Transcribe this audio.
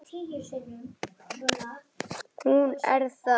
Hún er það.